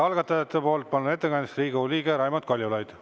Algatajate nimel ettekandeks palun kõnepulti Riigikogu liikme Raimond Kaljulaidi.